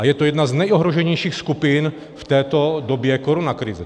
A je to jedna z nejohroženějších skupin v této době koronakrize.